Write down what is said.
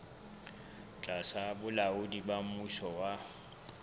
tlasa bolaodi ba mmuso wa